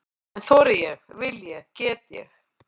En þori ég, vil ég, get ég?